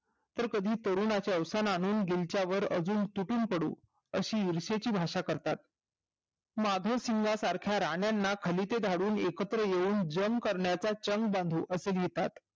तर कधी तरुणाच्या अवसनावर गिलच्या वर तुटून पडू अशी इर्षेची भाषा करतात माधव सारख्या राणाना खलिता झाडून एकत्र येऊन जम करण्याचा चग बाधू असे म्हणतात